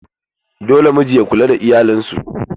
Dole miji ya kula da iyalan su.